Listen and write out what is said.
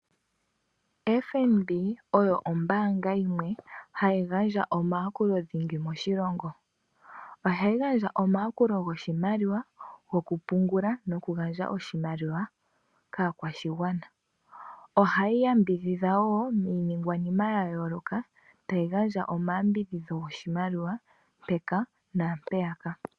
Fnb oyo ombaanga yimwe hayi gandja omayakulo dhingi moshilongo, ohayi gandja omayakulo goshimaliwa, go ku pungula no ku gandja oshimaliwa kaakwashigwana. Ohayi yambidhidha wo iiningwanima ya yooloka tayi gandja omayambidhidho goshimaliwa mpaka na mpeyaka.